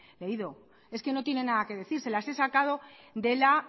leído es que no tiene nada que decir se las he sacado de la